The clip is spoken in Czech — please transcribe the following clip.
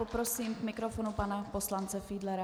Poprosím k mikrofonu pana poslance Fiedlera.